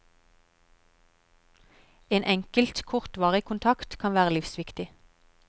En enkelt kortvarig kontakt kan være livsviktig.